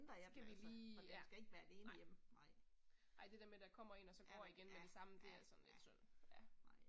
Skal vi lige ja. Nej. Ej det der med der kommer én og så går igen med det samme, det er sådan lidt synd, ja